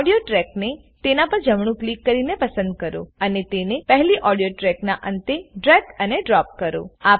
audio track ને તેના પર જમણું ક્લિક કરીને પસંદ કરો અને તેને પહેલી ઓડીઓ ટ્રેકના અંતે ડ્રેગ અને ડ્રોપ કરો